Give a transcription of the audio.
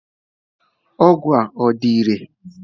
Ọgwụ a ọ dị irè?